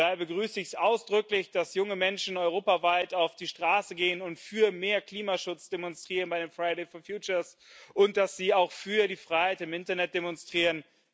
Daher begrüße ich ausdrücklich, dass junge Menschen europaweit auf die Straße gehen und für mehr Klimaschutz demonstrieren bei den Fridays for Future und dass sie auch für die Freiheit im Internet demonstrieren.